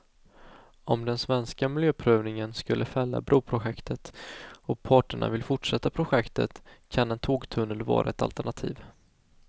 Om den svenska miljöprövningen skulle fälla broprojektet och parterna vill fortsätta projektet kan en tågtunnel vara ett alternativ.